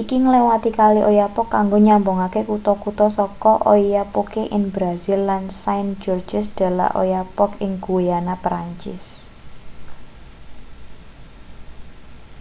iki ngliwati kali oyapock kanggo nyambungake kutha-kutha saka oiapoque ing brasil lan saint-georges de l'oyapock ing guyana prancis